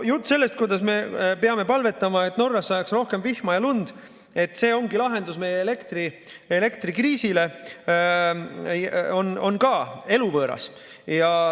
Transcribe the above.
Jutt sellest, kuidas me peame palvetama, et Norras sajaks rohkem vihma ja lund, sest see ongi lahendus meie elektrikriisile, on ka eluvõõras.